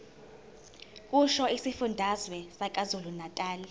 kusho isifundazwe sakwazulunatali